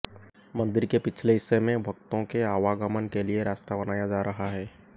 मंदिर के पिछले हिस्से में भक्ताें के आवागमन के लिए रास्ता बनाया जा रहा है